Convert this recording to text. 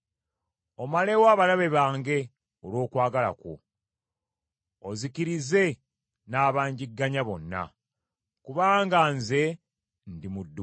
Omalewo abalabe bange olw’okwagala kwo, ozikirize n’abanjigganya bonna, kubanga nze ndi muddu wo.